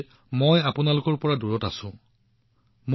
মই আপোনালোকৰ পৰা দূৰত আছোঁ বুলি কেৱল অনুভৱ নকৰোঁ